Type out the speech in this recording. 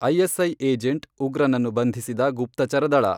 ISI agent, ಉಗ್ರನನ್ನು ಬಂಧಿಸಿದ ಗುಪ್ತಚರ ದಳ.